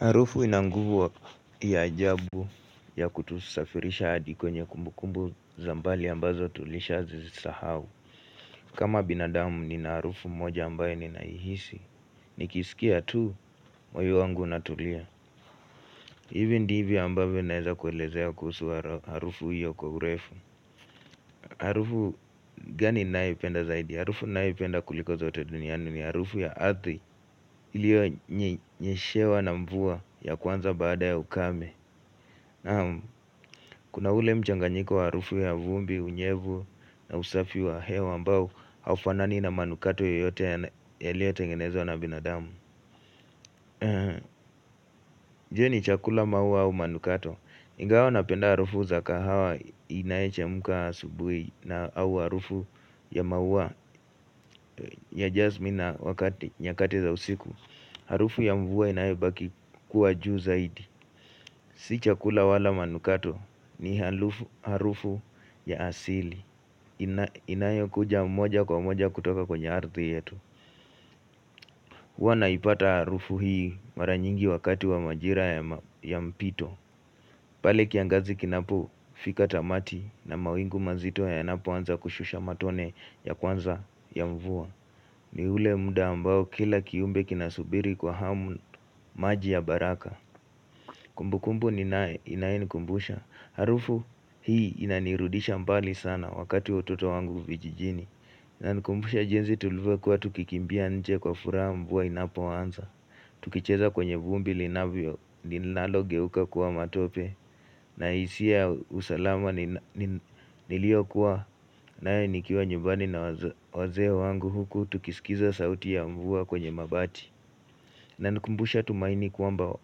Harufu inanguvu ya jaabu ya kutusafirisha adi kwenye kumbukumbu za mbali ambazo tulisha zizisahau. Kama binadamu ni na harufu moja ambayo ni naihisi, ni kisikia tu, moyo wangu unatulia. Ivi ndivi ambayo naeza kuelezea kuhusu harufu hiyo kwa urefu. Harufu gani naipenda zaidi? Harufu naipenda kulikoza watu dunianu ni harufu ya ardhi. Hiliyo nyeshewa na mvua ya kwanza baada ya ukame. Kuna ule mchanganyiko wa harufu ya vumbi, unyevu na usafi wa hewa ambao haufanani na manukato yote yalio tengenezo na binadamu Je chakula maua au manukato Ngao napenda harufu za kahawa inaiche muka subui na au harufu ya maua ya jazmina nyakati za usiku Harufu ya mvua inaibaki kuwa juu zaidi Sichakula wala manukato ni harufu ya asili inayokuja mmoja kwa mmoja kutoka kwenye ardhi yetu. Huwa naipata harufu hii mara nyingi wakati wa majira ya mpito pale kiangazi kinapu fika tamati na mawingu mazito ya inapo anza kushusha matone ya kwanza ya mvua ni ule muda ambao kila kiumbe kinasubiri kwa hamu maji ya baraka Kumbu kumbu inaini kumbusha Harufu hii inanirudisha mbali sana wakati ototo wangu vijijini na kumbusha jenzi tuluvua kuwa tukikimbia nje kwa furaha mvua inapowanza Tukicheza kwenye vumbi linalo geuka kuwa matope na hisia usalama nilio kuwa na nikiwa nyumbani na wazee wangu huku tukisikiza sauti ya mvua kwenye mabati inanikumbusha tumaini kuamba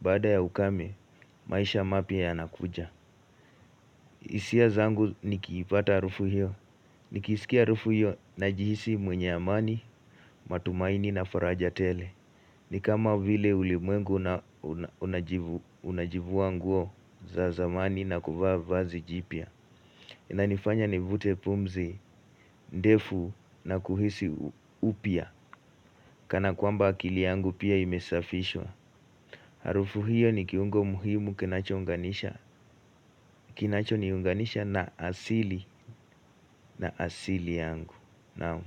bada ya ukame maisha mapi ya nakuja isia zangu nikipata harufu hiyo Nikisikia harufu hiyo na jihisi mwenye amani, matumaini na farajatele Nikama vile ulimwengu unajivu wanguo za zamani na kuvaa vazi jipya na nifanya nivute pumzi, ndefu na kuhisi upya Kana kwamba akili yangu pia imesafishwa harufu hiyo ni kiungo muhimu kinacho nganisha Kinacho niunganisha na asili na asili yangu Naam.